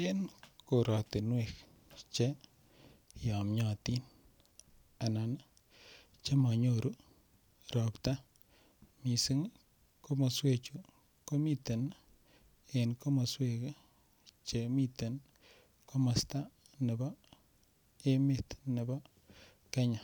En korotinwek che yomnyotin anan chemonyoru robta mising komoswechu komiten en komoswek chemiten komosto nebo emet nebo Kenya